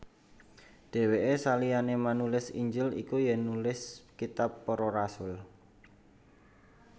Dhèwèke saliyané manulis Injil iku ya nulis kitab Para Rasul